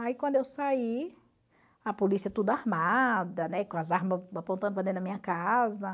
Aí quando eu saí, a polícia tudo armada, né, com as armas apontando para dentro da minha casa.